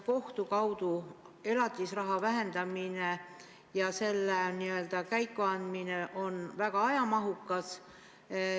Kohtu kaudu elatisraha vähendamine, selle asja käiku andmine on väga ajamahukas.